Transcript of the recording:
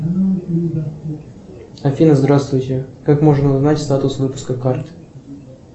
афина здравствуйте как можно узнать статус выпуска карты